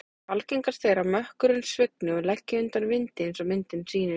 Algengast er að mökkurinn svigni og leggi undan vindi eins og myndin sýnir.